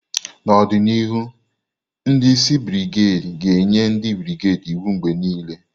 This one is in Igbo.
N'ọdịnihu, ndi isi brigedi ga-enye ndị brigedi iwu mgbe niile.